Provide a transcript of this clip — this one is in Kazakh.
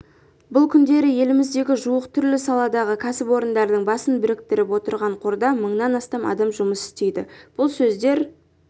бұл күндері еліміздегі жуық түрлі саладағы кәсіпорындардың басын біріктіріп отырған қорда мыңнан астам адам жұмыс істейді бұл сөздер